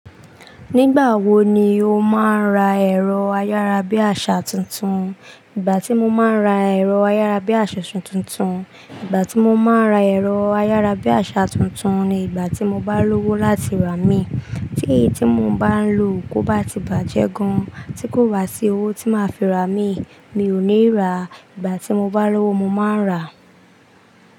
Nígbà wo ni o máa ń ra ẹ̀rọ ayára bí àsá tuntun? Ìgbà tí mo máa ń ra ẹ̀rọ ayára bí àsá tuntun, ìgbà tí mo máa ń ra ẹ̀rọ ayára bí àsá tuntun ni ìgbà tí mo bá lówó láti rà mí. Tí èyí tí mo bá ń lò kó bá ti bàjẹ́ gan tí kò wá sí owó tí máa fi ra mí, mi ò ní rà. Ìgbà tí mo bá lówó mo máa ń rà.